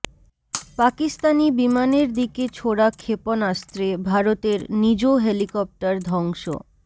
পাকিস্তানি বিমানের দিকে ছোড়া ক্ষেপণাস্ত্রে ভারতের নিজ হেলিকপ্টার ধ্বংস